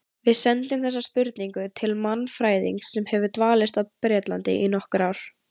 Við sendum þessa spurningu til mannfræðings sem hefur dvalist á Bretlandi í nokkur ár.